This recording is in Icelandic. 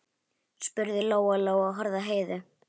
spurði Lóa Lóa og horfði á Heiðu.